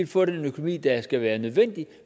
få den økonomi der skal være nødvendig